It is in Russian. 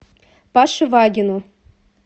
паше вагину